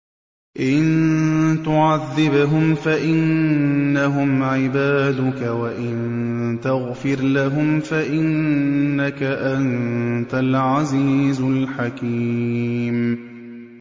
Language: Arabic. إِن تُعَذِّبْهُمْ فَإِنَّهُمْ عِبَادُكَ ۖ وَإِن تَغْفِرْ لَهُمْ فَإِنَّكَ أَنتَ الْعَزِيزُ الْحَكِيمُ